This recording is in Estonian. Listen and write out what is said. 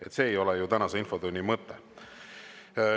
Aga see ei ole tänase infotunni mõte.